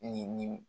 Ni nin